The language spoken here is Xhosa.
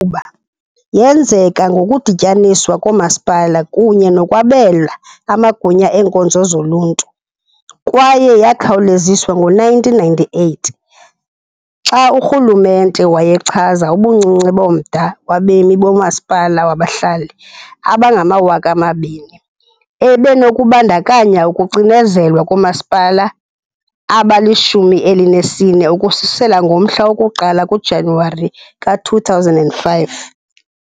qhuba yenzeka ngokudityaniswa koomasipala kunye nokwabela amagunya eenkonzo zoluntu, kwaye yakhawuleziswa ngo-1998 xa urhulumente wayechaza ubuncinci bomda wabemi bomasipala wabahlali abangama-2,000 ebenokubandakanya ukucinezelwa koomasipala abali-14 ukususela ngomhla woku-1 kuJanuwari ka-2005.